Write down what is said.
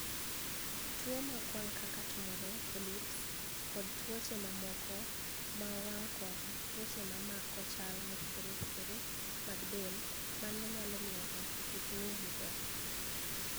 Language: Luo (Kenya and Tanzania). Tuwo mag wanig' kaka tumore,( polyps) kod tuoche mamoko mag wanig' kod tuoche ma mako chal mopogore opogore mag del mano niyalo miyo nig'ato kik nig'we maber.